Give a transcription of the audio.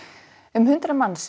um hundrað manns